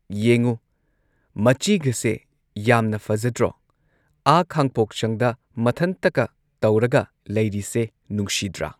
ꯌꯦꯡꯉꯨ ꯃꯆꯤꯒꯁꯦ ꯌꯥꯝꯅ ꯐꯖꯗ꯭ꯔꯣ ꯑꯥ ꯈꯥꯡꯄꯣꯛꯁꯪꯗ ꯃꯊꯟꯇꯒ ꯇꯧꯔꯒ ꯂꯩꯔꯤꯁꯦ ꯅꯨꯡꯁꯤꯗ꯭ꯔꯥ꯫